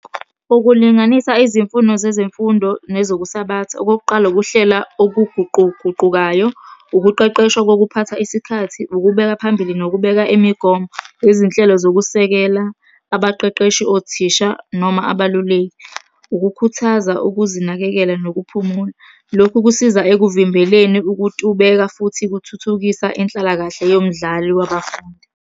Ukulinganisa izimfuno zezemfundo nezokusabatha. Okokuqala, ukuhlela okuguquguqukayo, ukuqeqeshwa kokuphatha isikhathi, ukubekwa phambili, nokubeka imigomo nezinhlelo zokusekela abaqeqeshi, othisha, noma abeluleki. Ukukhuthaza ukuzinakekela nokuphumula. Lokhu kusiza ekuvimbeleni ukutubeka futhi kuthuthukisa inhlalakahle yomdlali wabafundi.